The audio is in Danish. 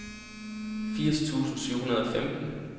firs tusind syv hundrede og femten